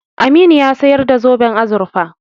Aminu ya sayar da zoben azurfa.